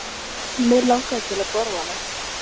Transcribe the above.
Mig lang ar til að borða hana.